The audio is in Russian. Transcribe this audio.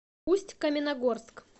усть каменогорск